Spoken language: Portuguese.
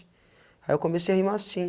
Aí eu comecei a rimar sim.